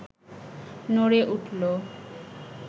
নড়ে উঠল